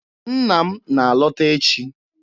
Nna m na-alọta echi.